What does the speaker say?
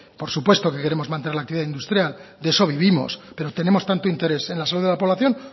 por supuesto que queremos mantener la actividad industrial de eso vivimos pero tenemos tanto interés en la salud de la población